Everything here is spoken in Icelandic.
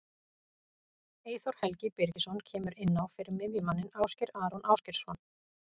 Eyþór Helgi Birgisson kemur inn á fyrir miðjumanninn Ásgeir Aron Ásgeirsson.